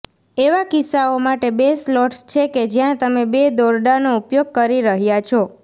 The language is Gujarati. એવા કિસ્સાઓ માટે બે સ્લોટ્સ છે કે જ્યાં તમે બે દોરડાનો ઉપયોગ કરી રહ્યા છો